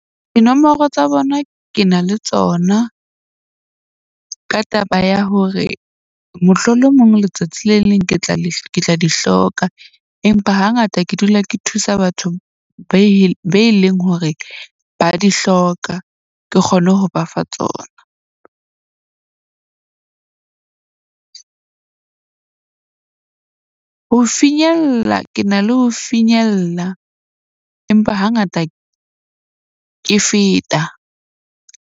Dinomoro tsa bona ke na le tsona ka taba ya hore mohlolomong letsatsi le leng ke tla di hloka, empa hangata ke dula ke thusa batho be leng hore ba di hloka. Ke kgone ho bafa tsona. Ho finyella ke na le ho finyella, empa hangata ke feta.